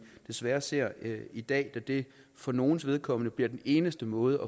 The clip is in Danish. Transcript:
desværre ser i dag da det for nogles vedkommende bliver den eneste måde